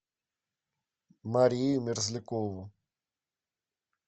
марию мерзлякову